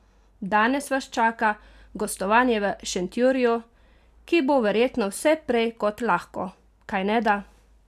Danes vas čaka gostovanje v Šentjurju, ki bo verjetno vse prej kot lahko, kajneda?